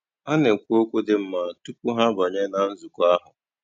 Há nà-ékwú ókwú dị́ nmá túpú há àbányé nà nzụ̀kọ́ áhụ̀.